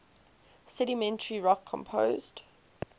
sedimentary rock composed